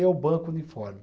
Eu banco o uniforme.